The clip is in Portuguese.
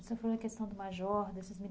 Você falou da questão do major, desses mili